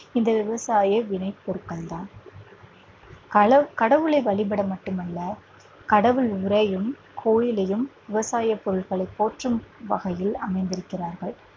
இந்த விவசாய விளை பொருட்கள் தான் கள கடவுளை வழிபட மட்டுமல்ல கடவுள் உறையும் கோயிலையும் விவசாய பொருட்களை போற்றும் வகையில் அமைந்திருக்கிறார்கள்